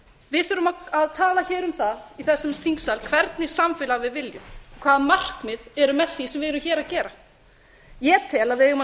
við skulum tala um það í þessum þingsal hvernig samfélag við viljum hvaða markmið eru með því sem við erum að gera ég tel að við eigum að